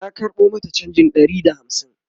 na karɓo mata chanjin Ɗari da hamsin